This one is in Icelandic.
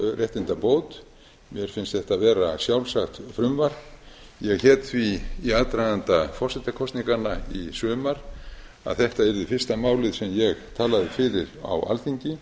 réttindabót mér finnst þetta vera sjálfsagt frumvarp ég hét því í aðdraganda forsetakosninganna í sumar að þetta yrði fyrsta málið sem ég talaði fyrir á alþingi